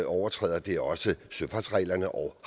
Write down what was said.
overtræder det er også søfartsreglerne og